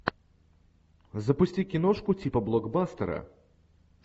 запусти киношку типа блокбастера